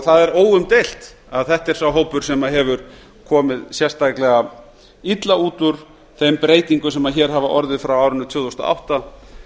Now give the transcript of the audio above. það er óumdeild að þetta er sá hópur sem hefur komið sérstaklega illa út úr þeim breytingum sem hér hafa orðið frá árinu tvö þúsund og átta